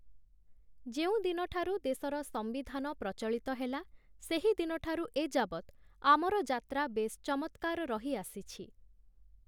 ଯେଉଁଦିନ ଠାରୁ ଦେଶର ସମ୍ବିଧାନ ପ୍ରଚଳିତ ହେଲା, ସେହିଦିନ ଠାରୁ ଏଯାବତ୍ ଆମର ଯାତ୍ରା ବେଶ୍ ଚମତ୍କାର ରହିଆସିଛି ।